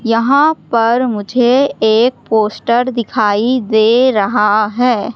यहां पर मुझे एक पोस्टर दिखाई दे रहा है।